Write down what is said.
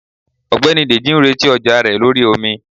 ọgbẹni dejì n retí ọja rẹ lorí omí.